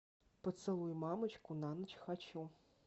поцелуй мамочку на ночь хочу